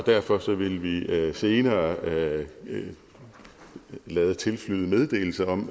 derfor vil vi senere lade lade tilflyde meddelelse om